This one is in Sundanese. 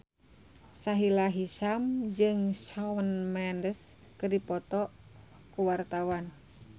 Sahila Hisyam jeung Shawn Mendes keur dipoto ku wartawan